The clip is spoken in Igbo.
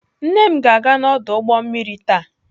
Nne m ga-aga n'ọdụ ụgbọ mmiri taa.